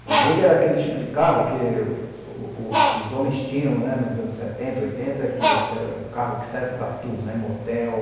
O Lombriga era aquele tipo de carro que o o os homens tinham né, nos anos setenta, oitenta, que que era o carro que serve para tudo né, motel.